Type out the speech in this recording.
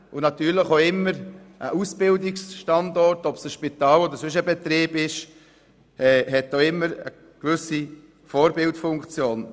Und natürlich hat ein Ausbildungsstandort – ob nun ein Spital oder sonst ein Betrieb – auch immer eine gewisse Vorbildfunktion.